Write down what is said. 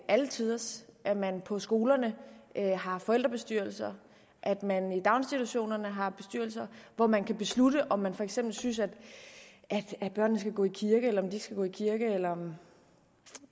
alle tiders at man på skolerne har forældrebestyrelser at man i daginstitutionerne har bestyrelser hvor man kan beslutte om man for eksempel synes at børnene skal gå i kirke eller de ikke skal gå i kirke eller